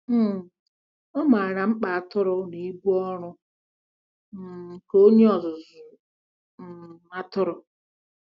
um Ọ maara mkpa atụrụ na ibu ọrụ um nke onye ọzụzụ um atụrụ.